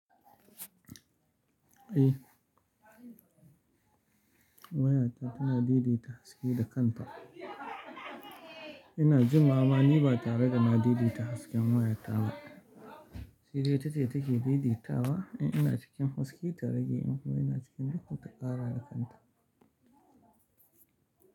Eh, wayata tana daidai ta haske da kanta. Ina jimawa ma ni ba tare da na didi ta hasken wayata ba. Shi dai ita ce take didi tawa in ina cikin haske ta rage in ina cikin duhu ta ƙara da kanta.